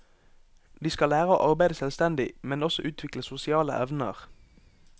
De skal lære å arbeide selvstendig, men også utvikle sosiale evner.